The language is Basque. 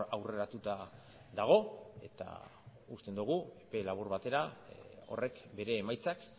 aurreratuta dago eta uste dugu epe labur batera horrek bere emaitzak